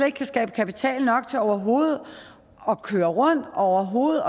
ikke kan skaffe kapital nok til overhovedet at køre rundt overhovedet